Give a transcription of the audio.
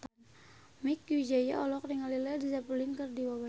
Mieke Wijaya olohok ningali Led Zeppelin keur diwawancara